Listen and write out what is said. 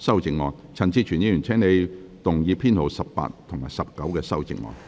陳志全議員，請你動議編號18及19的修正案。